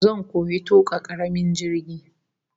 Zan koyi tuka karamin jirgi